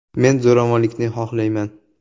“Men zo‘ravonlikni xohlamayman”.